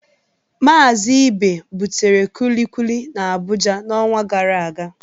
Mazị Ibe butere Kulikuli n'Abuja n'ọnwa gara aga.